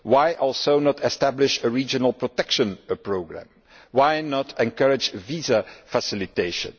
Why not also establish a regional protection programme? Why not encourage visa facilitation?